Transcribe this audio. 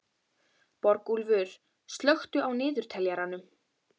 Borgúlfur, slökktu á niðurteljaranum.